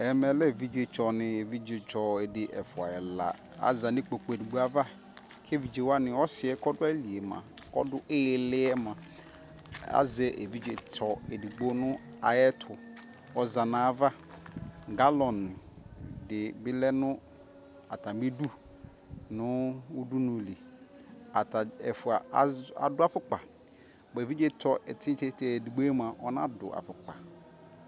ɛmɛlɛ evijestɔni evijestɔ edi ɛfua ɛla azani ekpoku edigbo ava kɛ evijewani ɔsie kɔ ɔdualiemua kɔdu ililiemua azɛ evijestɔ edigbo nu ayɛtu ɔzana ava galon di bilɛnu atani edu nu udunuli ɛfua adu afukpa evijestɔ ɛtisteste edigboemua ɔna du afukpa